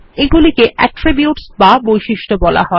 এগুলিকে অ্যাট্রিবিউটস বা বৈশিষ্ট্য বলা হয়